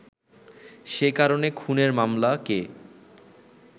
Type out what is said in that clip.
সে কারণে ‘খুনের মামলা’কে